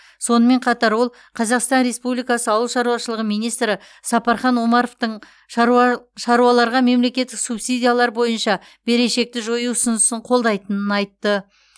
сонымен қатар ол қазақстан республикасы ауыл шаруашылығы министрі сапархан омаровтың шаруа шаруаларға мемлекеттік субсидиялар бойынша берешекті жою ұсынысын қолдайтынын айтты